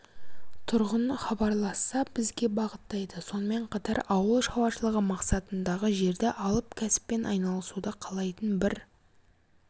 тұрғын хабарласса бізге бағыттайды сонымен қатар ауыл шаруашылығы мақсатындағы жерді алып кәсіппен айналысуды қалайтын бір